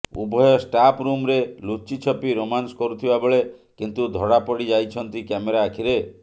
ଉଭୟ ଷ୍ଟାଫରୁମରେ ଲୁଚିଛପି ରୋମାନ୍ସ କରୁଥିବା ବେଳେ କିନ୍ତୁ ଧରାପଡିଯାଇଛନ୍ତି କ୍ୟାମେରା ଆଖିରେ